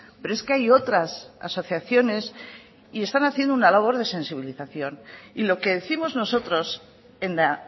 pero es que hay otras asociaciones y están haciendo una labor de sensibilización y lo que décimos nosotros en la